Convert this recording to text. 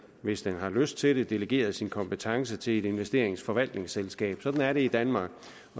hvis den har lyst til det delegeret sin kompetence til et investeringsforvaltningsselskab sådan er det i danmark